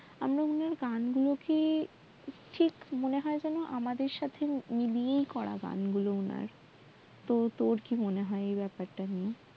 গান গুলো কি ঠিক মনে হয় যেন আমাদের সাথেই মিলিয়ে করা গান গুলো ওনার তহ তোর কি মনে হয় এ ব্যাপার টা নিয়ে